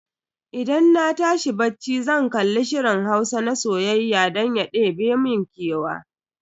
Idan na tashi bacci zan kalli shirin Hausa na soyayya don ya ɗebe mun kewa.